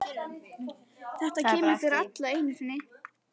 Þetta kemur fyrir alla einu sinni.